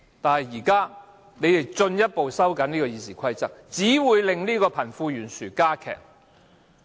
但是，現在他們進一步收緊《議事規則》，只會令貧富懸殊加劇。